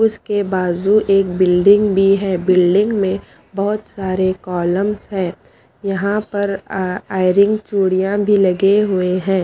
उसके बाजु एक बिल्डिंग भी है बिल्डिंग में बहोत सारे कलुमंस है यहाँ पर अः आयरन चुडिया भी लगे हुए है।